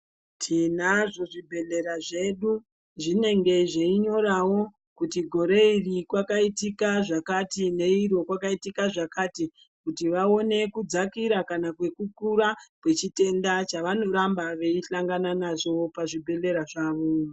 Tinazvo zvibhehlera zvedu zvinenge zveinyorawo kuti gore iri kwakaitika zvakati, neiri kwakaitika zvakati kuti vaone kudzakira kana kukura kwechitenda chavanoramba vechisangana nazvoo pachibhehlera zvavo.